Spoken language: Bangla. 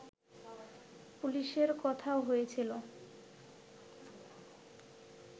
পুলিশের কথাও হয়েছিল